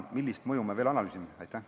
Millist mõju me veel analüüsime?